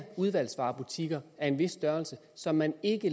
udvalgsvarebutikker af en vis størrelse som man ikke